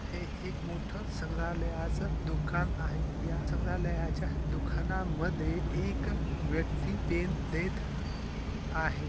हे एक मोठ संग्रालायच दुकान आहे या संग्रालयाच्या दुकाना मध्ये एक व्यक्ती पेन देत आहे.